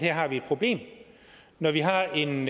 her har et problem og når vi har en